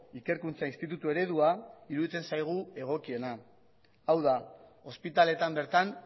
ikerkuntza institutu eredua iruditzen zaigu egokiena hau da ospitaletan bertan